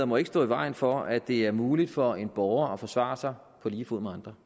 må ikke stå i vejen for at det er muligt for en borger at forsvare sig på lige fod med andre